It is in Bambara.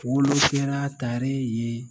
Olu kɛra tare ye